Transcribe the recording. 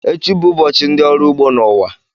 Echi bụ ụbọchị ndị ọrụ ugbo n'ụwa